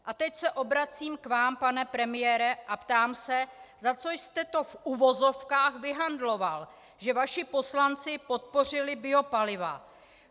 A teď se obracím k vám, pane premiére, a ptám se, za co jste to v uvozovkách vyhandloval, že vaši poslanci podpořili biopaliva.